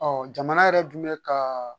Ɔɔ jamana yɛrɛ dun be ka